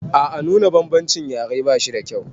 A a nuna bambancin yare ba shida kyau.